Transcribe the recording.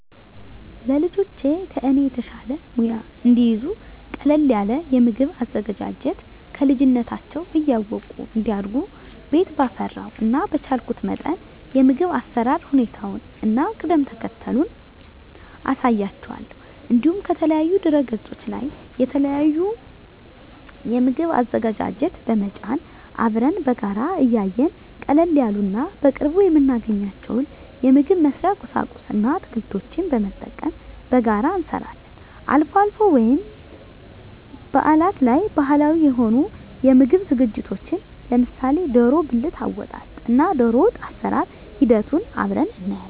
ለልጆቼ ከኔ የተሻለ ሙያ እንዲይዙ ቀለል ያለ የምግብ አዘገጃጀት ከልጅነታቸው እያወቁ እንዲያድጉ ቤት ባፈራው እና በቻልኩት መጠን የምግብ አሰራር ሁኔታውን እና ቅደም ተከተሉን አሳያቸዋለሁ። እንዲሁም ከተለያዩ ድህረገጾች ላይ የተለያዩ የምግብ አዘገጃጀት በመጫን አብረን በጋራ እያየን ቀለል ያሉ እና በቅርቡ የምናገኛቸውን የምግብ መስሪያ ቁሳቁስ እና አትክልቶችን በመጠቀም በጋራ አብረን እንሰራለን። አልፎ አልፎ ወይም በአላት ላይ ባህላዊ የሆኑ የምግብ ዝግጅቶችን ለምሳሌ ደሮ ብልት አወጣጥ እና ደሮወጥ አሰራር ሂደቱን አብረን እናያለን።